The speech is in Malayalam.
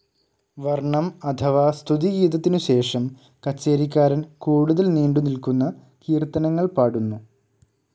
വർണ്ണം, അഥവാ സ്തുതിഗീതത്തിനുശേഷം, കച്ചേരിക്കാരൻ, കൂടുതൽ നീണ്ടുനിൽക്കുന്ന കീർത്തനങ്ങൾ പാടുന്നു.